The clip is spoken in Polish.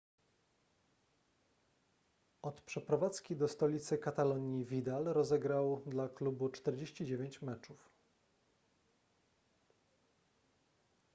od przeprowadzki do stolicy katalonii vidal rozegrał dla klubu 49 meczów